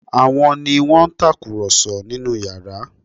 Àwọn ni wọ́n ń tàkùrọ̀sọ nínú yàrá?